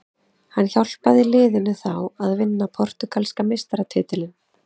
Hann hjálpaði liðinu þá að vinna portúgalska meistaratitilinn.